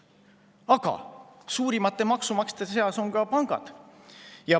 Aga suurimate maksumaksjate seas on ka pangad.